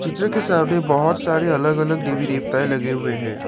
के सामने बहुत सारे अलग अलग देवी देवताएं लगे हुए हैं।